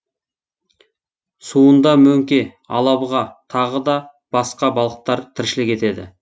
суында мөңке алабұға тағы да басқа балықтар тіршілік етеді